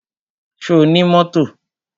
Ṣo ní mọ́tò?